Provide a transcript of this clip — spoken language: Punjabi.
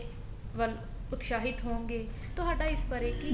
ਵਲ ਉਤਸ਼ਾਹਿਤ ਹੋਣਗੇ ਤੁਹਾਡਾ ਇਸ ਬਾਰੇ ਕੀ